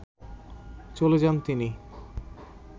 চলে যান তিন